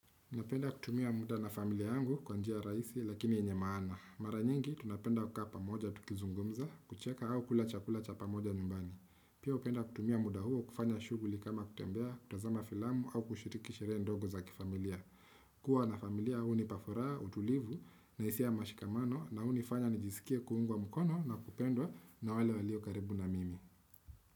Unapenda kutumia muda na familia yangu kwa njia rahisi lakini enye maana. Mara nyingi tunapenda kukaa pamoja tukizungumza, kucheka au kula cha kula cha pamoja nyumbani. Pia hupenda kutumia muda huo kufanya shughuli kama kutembea, kutazama filamu au kushiriki sherehe ndogo za kifamilia. Kuwa na familia hunipa furaha, utulivu na hisia ya mashikamano na huwa nijiskie kuungwa mkono na kupendwa na wale walio karibu na mimi.